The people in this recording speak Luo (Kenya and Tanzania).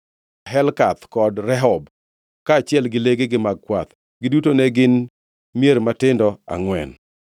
Helkath kod Rehob, kaachiel gi legegi mag kwath. Giduto ne gin mier matindo angʼwen.